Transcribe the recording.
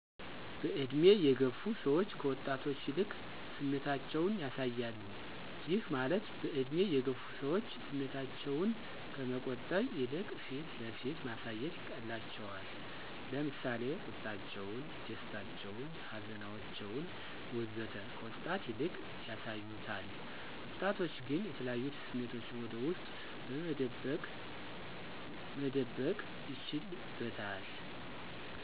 በእድሜ የገፉ ሰዎች ከወጣቶች ይልቅ ስሜታቸውን ያሳያሉ፤ ይህ ማለት በእድሜ የገፉ ሰዎች ስሜታቸውን ከመቆጠብ ይልቅ ፊት ለፊት ማሳየት ይቀላቸዋል። ለምሳሌ፦ ቁጣቸውን፣ ደስታቸውን፣ ሀዘናቸውን፣ ወዘተ... ከወጣት ይልቅ ያሳዩታል። ወጣቶች ግን የተለያዩ ስሜቶቹን ወደ ውስጡ መደበቅ ይችልበታል።